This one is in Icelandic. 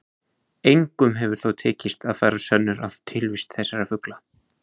Engum hefur þó tekist að færa sönnur á tilvist þessara fugla.